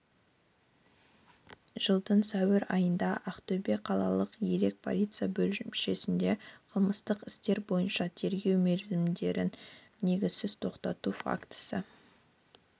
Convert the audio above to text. жылдың сәуір айында ақтөбе қалалық елек полиция бөлімшесіне қылмыстық істер бойынша тергеу мерзімдерін негізсіз тоқтату фактісі